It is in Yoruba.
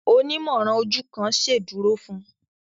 Onimọran ojú kán ṣeduro fún